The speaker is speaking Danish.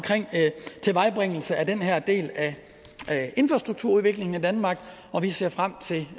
tilvejebringelse af den her del af infrastrukturudviklingen i danmark og vi ser frem til